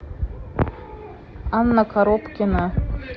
анна коробкина